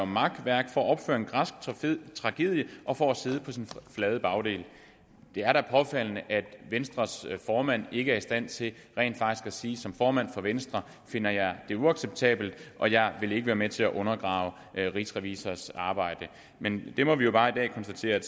makværk for at opføre en græsk tragedie og for at sidde på sin flade bagdel det er da påfaldende at venstres formand ikke er i stand til rent faktisk at sige som formand for venstre finder jeg det uacceptabelt og jeg vil ikke være med til at undergrave rigsrevisors arbejde men vi må jo bare konstatere i